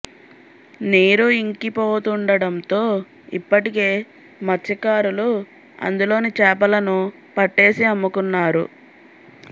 నీరు ఇంకి పోతుండడంతో ఇప్పటికే మత్సకారులు అందులోని చేపలను పట్టేసి అమ్ముకున్నారు